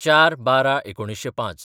०४/१२/०५